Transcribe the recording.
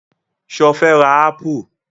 Sọ fẹ́ ra ápù?